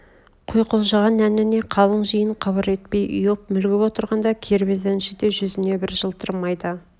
құйқылжыған әніне қалың жиын қыбыр етпей ұйып мүлгіп отырғанда кербез әнші де жүзне бір жылтыр майда